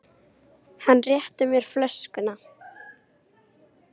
Hann rétti mér flöskuna.